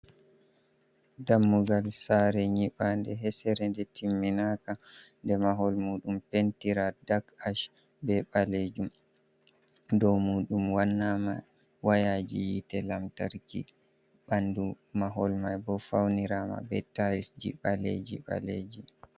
Dammugal sare nyiɓande hesere ɗe timminai ka nder mahol muɗum pentira ɗak ash be balejum dow muɗum wannama wayaji yite lamtarki ɓandu mahol mai bo faunira ma be tayis ji baleji baleji.